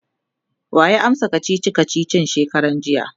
waya amsa kachichi kachichin shekaran jiya?